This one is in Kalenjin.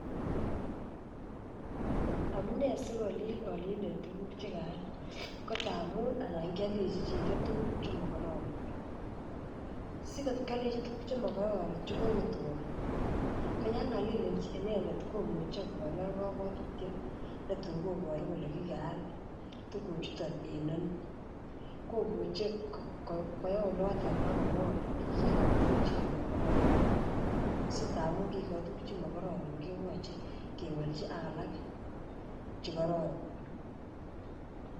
Amune sikolil aalindet tuguk Che kaal ko angamun anan kealdechi chito tuguk Che mokororon Che kokotwo ko yon Kalil inendet komuche konai kabwatutiet netun koboru kole kikaal tuguchuton en ano komuche kwo oloto ak komwa Kole kigochi tuguk Che makororon so tamun kigikochi tuguk Che mo kororon koyoche kewolchi ak alak Che kororon